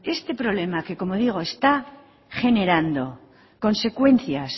esta problema que como digo está generando consecuencias